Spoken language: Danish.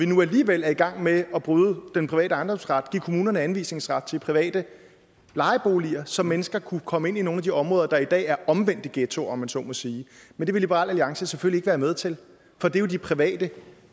nu alligevel er i gang med at bryde den private ejendomsret ved at give kommunerne anvisningsret til private lejeboliger så mennesker kunne komme ind i nogle af de områder der i dag er omvendte ghettoer om man så må sige men det vil liberal alliance selvfølgelig være med til for det er jo de private